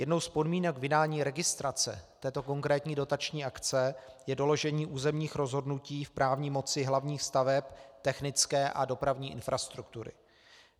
Jednou z podmínek vydání registrace této konkrétní dotační akce je doložení územních rozhodnutí v právní moci hlavních staveb technické a dopravní infrastruktury.